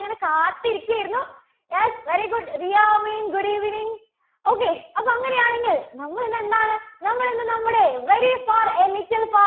ഇങ്ങനെ കാത്തിരിക്കുകയായിരുന്നു. yes very good Riya Ameen good evening, okay. അപ്പോ അങ്ങനെയാണെങ്കിൽ നമ്മൾ ഇന്ന് എന്താണ്? നമ്മൾ ഇന്ന് നമ്മുടെ very far a little far